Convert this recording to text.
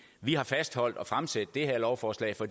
vi har fastholdt at fremsætte det her lovforslag for